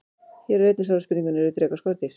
Hér er einnig svarað spurningunni: Eru drekar skordýr?